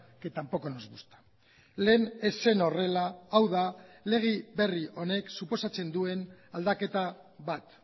que tampoco nos gusta lehen ez zen horrela hau da lege berri honek suposatzen duen aldaketa bat